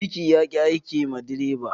Birki ya ki aiki ma direban.